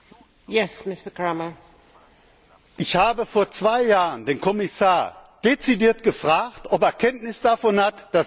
Ich habe vor zwei Jahren den Kommissar dezidiert gefragt, ob er Kenntnis davon hat, dass diese Monstertrucks die Grenze überschreiten.